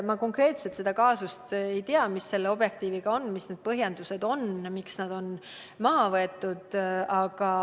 Ma konkreetselt seda kaasust ei tea, mis Objektiivi puudutab, ja mis on põhjendused, miks nende saated on maha võetud.